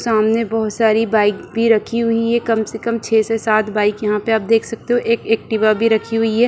सामने बहुत सारी बाइक भी रखी हुई है कम से कम छह से सात बाइक यहाँ पे आप देख सकते हो एक एक्टिवा भी रखी हुई है ।